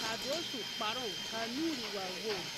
kaa dɔɔ su kparo kaa nuure waa wogri.